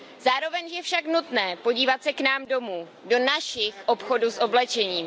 Zároveň je však nutné podívat se k nám domů, do našich obchodů s oblečením.